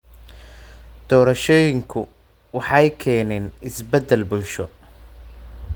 Doorashooyinku waxay keeneen isbeddel bulsho.